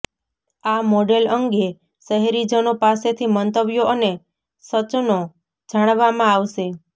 આ મોડેલ અંગે શહેરીજનો પાસેથી મંતવ્યો અને સચનો જાણવામાં આવશે